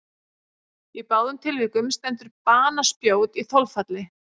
Í báðum tilvikum stendur banaspjót í þolfalli.